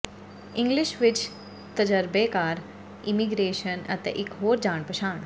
English ਵਿੱਚ ਤਜਰਬੇਕਾਰ immigration ਅਤੇ ਇੱਕ ਹੋਰ ਜਾਣ ਪਛਾਣ